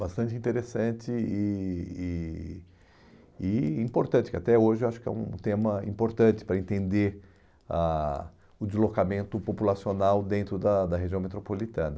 bastante interessante e e e importante, que até hoje eu acho que é um tema importante para entender a o deslocamento populacional dentro da da região metropolitana.